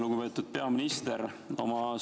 Lugupeetud peaminister!